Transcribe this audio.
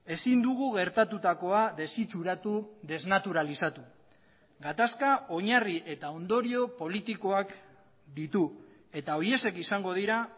ezin dugu gertatutakoa desitxuratu desnaturalizatu gatazka oinarri eta ondorio politikoak ditu eta horiexek izango dira